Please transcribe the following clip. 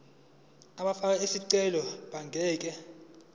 abafake izicelo abangeke